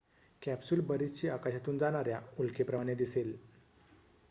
capsule बरीचशी आकाशातून जाणाऱ्या उल्केप्रमाणे दिसेल